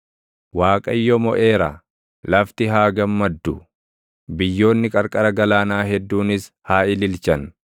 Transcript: Waaqayyo moʼeera; lafti haa gammaddu; biyyoonni qarqara galaanaa hedduunis haa ililchan.